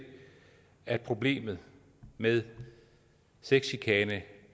at problemet med sexchikane